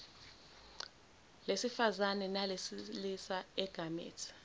lesifazane nelesilisa igamethi